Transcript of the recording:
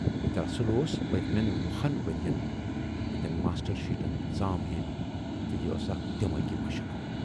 دراصل اوس پٔتۍمٮ۪ن وُہَن ؤرۍیَن ہٕندٮ۪ن ماسٹر شیٖٹن سام ہینۍ تہٕ یہِ ٲس اکھ دٮ۪ماغی مشق۔